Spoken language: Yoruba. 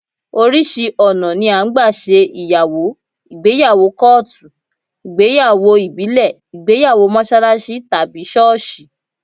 Oríṣi ọ̀nà ni à ń gbà ṣe ìyàwó: ìgbéyàwó kọ́ọ̀tù, ìgbéyàwó ìbílẹ̀, ìgbéyàwó mọ́ṣáláṣí tàbí ṣọ́ọ̀ṣì